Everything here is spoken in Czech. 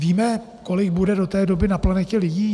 Víme, kolik bude do té doby na planetě lidí?